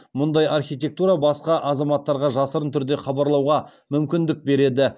мұндай архитектура басқа азаматтарға жасырын түрде хабарлауға мүмкіндік береді